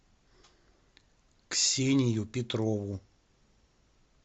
ксению петрову